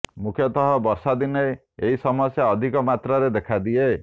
ମୁଖ୍ୟତଃ ବର୍ଷା ଦିନେ ଏହି ସମସ୍ୟା ଅଧିକ ମାତ୍ରାରେ ଦେଖାଦିଏ